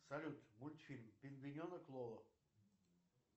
салют мультфильм пингвиненок лоло